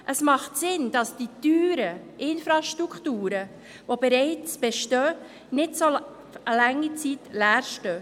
Es macht Sinn, dass die teuren Infrastrukturen, die bereits bestehen, nicht über so lange Zeit leer stehen.